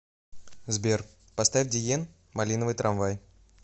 сбер поставь диен малиновый трамвай